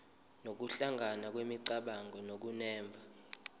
nokuhlangana kwemicabango nokunemba